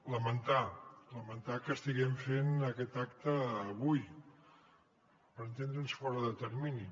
lamentar que estiguem fent aquest acte avui per entendre’ns fora de termini